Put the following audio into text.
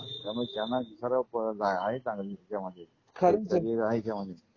हा. त्यामुळे त्यांना दुसरा पळ नाही. आहे चांगली त्यांचा मधेच. हेच सगळी राहील जावणीत.